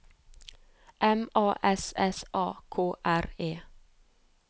M A S S A K R E